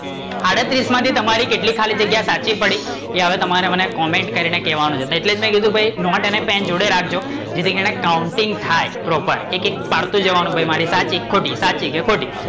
આડત્રીસ માંથી તમારી કેટલી ખાલી જગ્યા સાચી પડી, એ હવે તમારે મને comment કરી ને કેવાનું છે એટલે જ મેં એને કીધું કે નોટ અને પેન જોડે રાખજો જેથી કરી ને counting થાય, પ્રોપર એક એક પાડતું જવાનું ભાઈ મારી સાચી કે ખોટી? સાચી કે ખોટી?